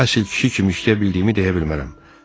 Əsl kişi kimi işləyə bildiyimi deyə bilmərəm.